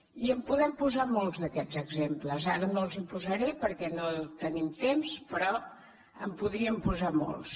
i en podem posar molts d’aquests exemples ara no els els posaré perquè no tenim temps però en podríem posar molts